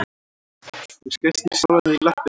Þú skaust nú sjálfan þig í löppina